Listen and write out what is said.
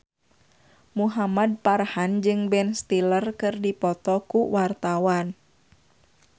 Muhamad Farhan jeung Ben Stiller keur dipoto ku wartawan